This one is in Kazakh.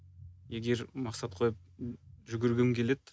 егер мақсат қойып жүгіргім келеді